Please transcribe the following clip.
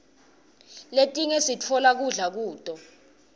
letinye siftola kudla kuto